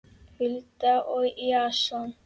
Hulda og Jason.